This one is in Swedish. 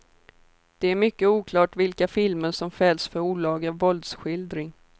Det är mycket oklart vilka filmer som fälls för olaga våldsskildring.